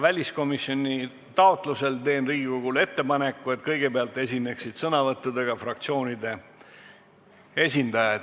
Väliskomisjoni taotlusel teen Riigikogule ettepaneku, et kõigepealt esinevad sõnavõttudega fraktsioonide esindajad.